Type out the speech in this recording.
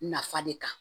Nafa de kan